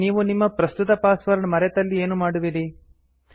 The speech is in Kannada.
ಆದರೆ ನೀವು ನಿಮ್ಮ ಪ್ರಸ್ತುತ ಪಾಸ್ವರ್ಡ್ ಮರೆತಲ್ಲಿ ಏನು ಮಾಡುವಿರಿ